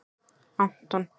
Anton